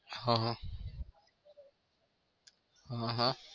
હહ. હહ